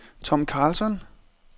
Tom Karlsson